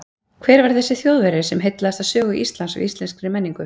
Hver var þessi Þjóðverji sem heillaðist af sögu Íslands og íslenskri menningu?